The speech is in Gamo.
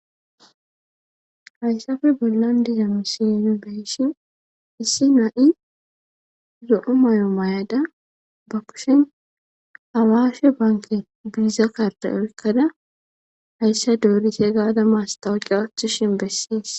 Hayssape bollan diza misilee nu be7ishin issi na7i lo7o mayo mayada ba kushen awaashe bankke biiza kardde oykkada hayssa doorithe gaada masththaawoqiya ooththishe besses.